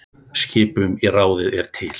Skipun í ráðið er til